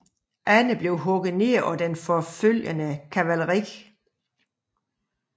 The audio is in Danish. Andre blev hugget ned af det forfølgende kavaleri